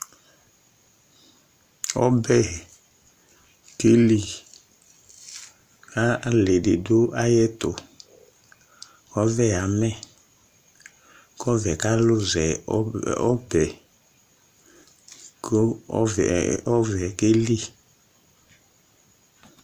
Ɔbɛ keli ali didu ayɛtu Ɔvɛ yamɛ kɔvɛ kaluzɛ ɔbɛ ku ɔvɛ keli